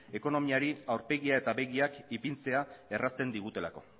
ekonomiari aurpegiak eta begiak ipintzea errazten digutelako